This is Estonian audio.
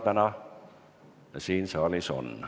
Täna seda siin saalis on.